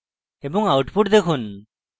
এবং output দেখুন